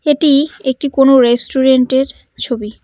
এটি একটি কোনো রেস্টুরেন্টের ছবি।